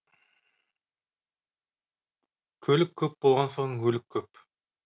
көлік көп болған соң өлік көп